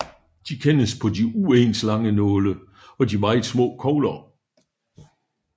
De kendes på de uens lange nåle og de meget små kogler